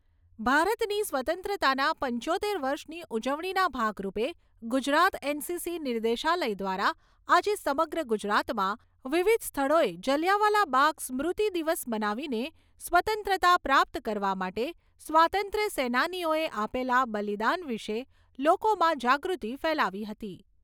ભારતની સ્વતંત્રતાના પંચોતેર વર્ષની ઉજવણીના ભાગરૂપે ગુજરાત એનસીસી નિર્દેશાલય દ્વારા આજે સમગ્ર ગુજરાતમાં વિવિધ સ્થળોએ જલિયાવાલા બાગ સ્મૃતિ દિવસ મનાવીને સ્વતંત્રતા પ્રાપ્ત કરવા માટે સ્વાતંત્ર્ય સેનાનીઓએ આપેલા બલિદાન વિશે લોકોમાં જાગૃતિ ફેલાવી હતી.